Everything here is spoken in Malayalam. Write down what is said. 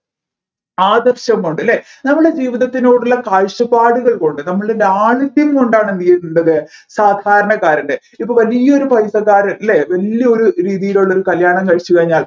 ആദർശം കൊണ്ട് അല്ലെ നമ്മൾടെ ജീവിതത്തിനോടുള്ള കാഴ്ചപ്പാടുകൾ കൊണ്ട് നമ്മളുടെ ലാളിത്യം കൊണ്ടാണ് എന്തുചെയ്യേണ്ടത് സാധാരണക്കാരൻെറ ഇപ്പൊ വലിയൊരു പൈസക്കാരൻ അല്ലെ വല്യൊരു രീതിയിലുള്ള ഒരു കല്യാണം കഴിച്ചു കഴിഞ്ഞാൽ